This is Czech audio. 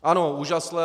Ano, užasle.